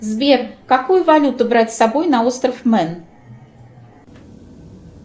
сбер какую валюту брать с собой на остров мен